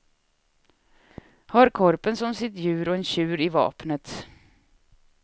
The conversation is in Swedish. Har korpen som sitt djur och en tjur i vapnet.